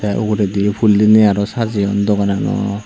te uguredi phul diney aro sajayoun dogoanaw.